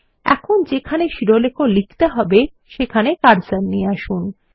এখন যেখানে শিরোলেখ লিখতে হবে সেখানে কার্সার নিয়ে আসুন